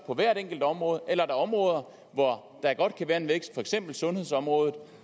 på hvert enkelt område eller områder hvor der godt kan være en vækst for eksempel sundhedsområdet